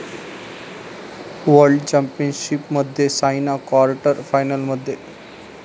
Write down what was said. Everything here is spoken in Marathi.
वर्ल्ड चॅम्पियनशिपमध्ये सायना क्वार्टर फायनलमध्ये